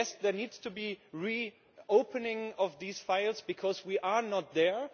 yes, there needs to be re opening of these files, because we are not there?